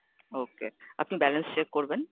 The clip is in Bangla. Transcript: okay, আপনি Balance check করবেন?